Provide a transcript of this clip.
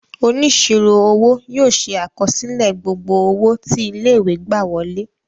Onísirò owó yóò ṣe àkọsílẹ gbogbo owó tí ilé-ìwé gbà wọlé.